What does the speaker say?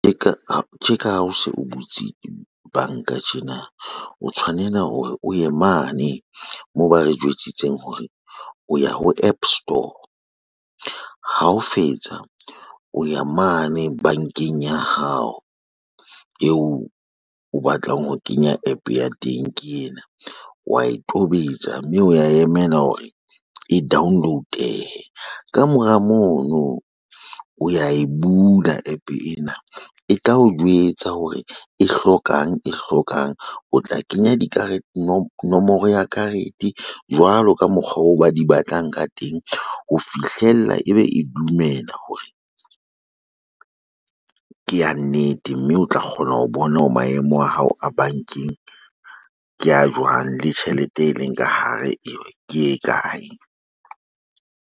Tjeka ha o se o butse banka tjena, o tshwanela hore o ye mane moo ba re jwetsitseng hore o ye ho App Store ha o fetsa o ya mane bankeng ya hao eo o batlang ho kenya APP ya teng ke ena wa e tobetsa mme o ya emela hore e download-ehe ka mora mono o ya e bula APP ena e tla o jwetsa hore e hlokang e hlokang o tla kenya nomoro ya karete jwalo ka mokgwa o ba di batlang ka teng ho fihlella ebe e dumela hore ke ya nnete mme o tla kgona ho bona hore maemo a hao a bankeng ke a jwang le tjhelete e leng ka hare ke e kae.